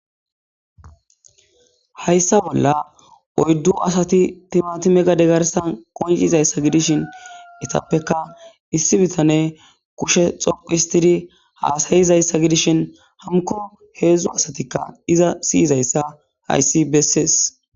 Hayssa bolla oyddu asati timati megade garsan qoncizayssa gidishin etappeka issi bitane kushe xoqihistidi haasayizayssa gidishin hamko heedzdzu asatikka iza siyizayssa hayssi bessees.